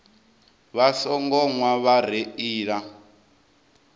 vha songo nwa vha reila